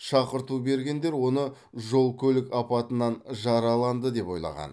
шақырту бергендер оны жол көлік апатынан жараланды деп ойлаған